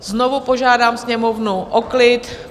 Znovu požádám Sněmovnu o klid.